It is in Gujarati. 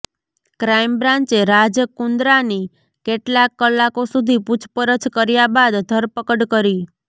ક્રાઈમ બ્રાંચે રાજ કુંદ્રાની કેટલાક કલાકો સુધી પૂછપરછ કર્યા બાદ ધરપકડ કરી